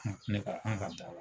Ne ka an ka